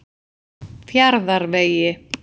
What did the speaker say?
Fjarðarvegi